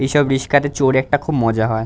এসব রিস্কা -তে চড়ে একটা খুব মজা হয়।